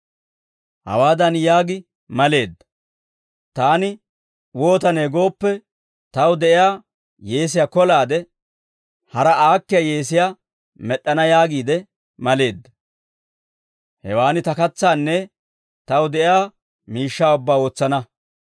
hawaadan yaagi maleedda; ‹Taani wootane gooppe, taw de'iyaa yeesiyaa kolaade, hara aakkiyaa yeesiyaa med'd'ana yaagiide maleedda; hewaan ta katsaanne taw de'iyaa miishshaa ubbaa wotsana.